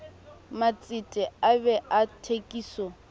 matsete a bee a thekiso